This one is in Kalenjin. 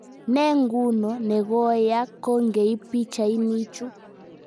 Ne nguno ne koyaak kongeiip pichainichu